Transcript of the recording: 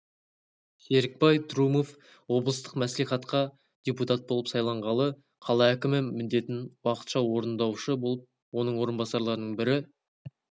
серікбай трумов облыстық мәслихатқа депутат болып сайланғалы қала әкімі міндетін уақытша орындаушы болып оның орынбасарларының бірі